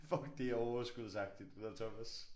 Fuck det er overskudsagtigt det der Thomas